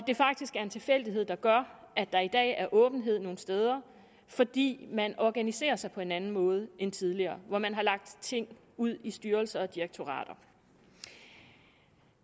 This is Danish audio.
det er faktisk en tilfældighed der gør at der i dag er åbenhed nogle steder fordi man organiserer sig på en anden måde end tidligere hvor man har lagt ting ud i styrelser og direktorater